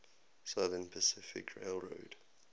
southern pacific railroad